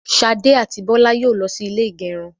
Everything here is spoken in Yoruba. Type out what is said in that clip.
Ṣadé àti Bọlá yóò lọ sí ilé ìgẹrun.